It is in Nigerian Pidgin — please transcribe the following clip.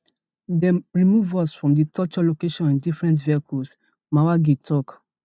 dem remove us from di torture location in different vehicles mwangi tok